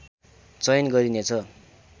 चयन गरिने छ